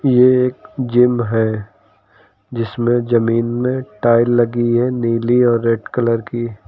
ये एक जिम है जिसमें ज़मीन में टाइल लगी नीली और रेड कलर की।